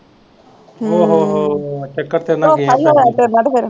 ਹੂੰ ਧੋਖਾ ਈ ਹੋਇਆ ਤੇਰੇ ਨਾ ਤੇ ਫਿਰ।